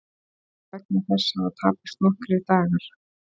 Vegna þess hafa tapast nokkrir dagar